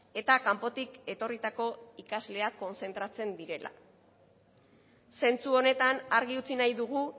eta kanpotik etorritako ikasleak kontzentratzen direla zentzu honetan argi utzi nahi dugu